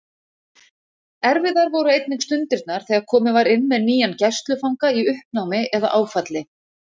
Erfiðar voru einnig stundirnar þegar komið var inn með nýjan gæslufanga í uppnámi eða áfalli.